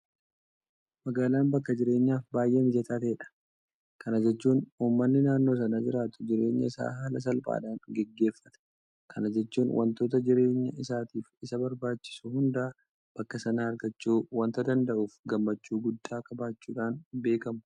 Magaalaan bakka jireenyaaf baay'ee mijataa kan ta'edha. Kana jechuun uummanni naannoo sana jiraatu jireenya isaa haala salphaadhaan gaggeeffata. Kana jechuun waantota jireenya isaatiif isa barbaachisu hunda bakka sanaa argachuu waanta danda'uuf gammachuu guddaa qabaachuudhaan beekamu.